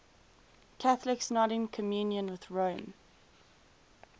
catholics not in communion with rome